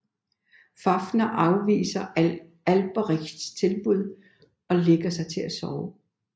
Fafner afviser Alberichs tilbud og lægger sig til at sove